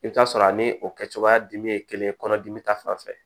I bɛ t'a sɔrɔ a ni o kɛ cogoya dimi ye kelen ye kɔnɔdimi ta fan fɛ